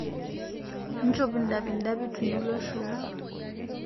Nchop ndapi ndapi tunulo shoo